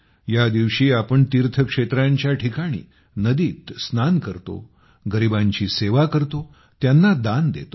या दिवशी आपण तीर्थक्षेत्रांच्या ठिकाणी नदीत स्नान करतो गरिबांची सेवा करतो त्यांना दान देतो